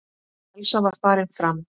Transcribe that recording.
Elsa var farin fram.